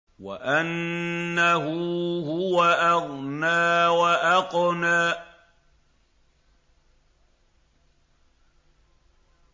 وَأَنَّهُ هُوَ أَغْنَىٰ وَأَقْنَىٰ